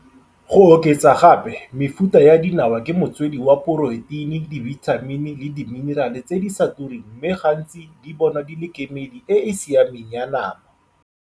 Go oketsa gape, mefuta ya dinawa ke motswedi wa poroteine, dibitamini le diminerale tse di sa tureng mme gantsi di bonwa di le kemedi e e siameng ya nama.